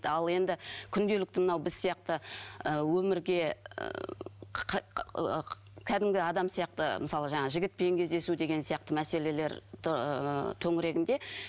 ал енді күнделікті мынау біз сияқты ы өмірге кәдімгі адам сияқты ы мысалы жаңағы жігітпен кездесу деген сияқты мәселелер төңірегінде